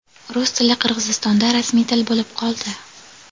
Rus tili Qirg‘izistonda rasmiy til bo‘lib qoldi.